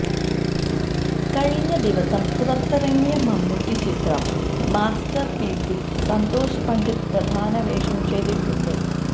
കഴിഞ്ഞ ദിവസം പുറത്തിറങ്ങിയ മമ്മൂട്ടി ചിത്രം മാസ്റ്റര്പീസില് സന്തോഷ് പണ്ഡിറ്റ് പ്രധാന വേഷം ചെയ്തിട്ടുണ്ട്